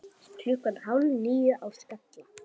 Klukkan hálf níu á Skalla!